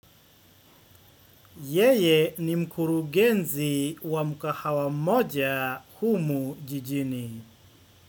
Yeye ni mkurugenzi wa mkahawa mmoja humu jijini.